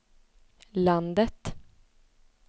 landet